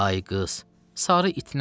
Ay qız, sarı it nədir?